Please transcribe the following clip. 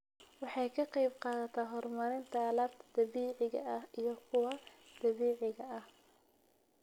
Waxay ka qaybqaadataa horumarinta alaabta dabiiciga ah iyo kuwa dabiiciga ah.